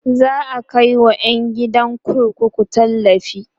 za'a Kai wa ƴan gidan kurkuku tallafi